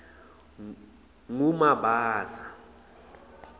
ngumabasa